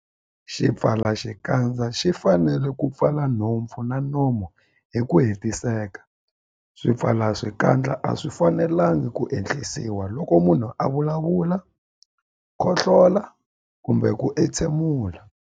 Xipfalaxikandza xi fanele ku pfala nhompfu na nomo hi ku hetiseka. Swipfalaxikandza a swi fanelanga ku ehlisiwa loko munhu a vulavula, khohlola kumbe ku entshemula.